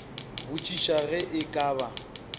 botšiša ge e ka ba